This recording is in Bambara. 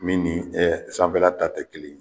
Min ni ɛ sanfɛla ta tɛ kelen ye